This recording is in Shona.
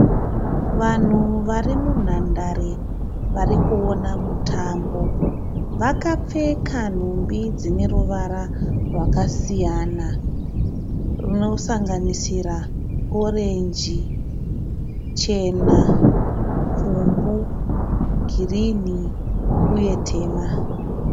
Vanhu vari munhandare vari kuona mutambo vakapfeka nhumbi dzine ruvara rwakasiyana runosanganisira orenji, chena, pfumbu, girini uye tema.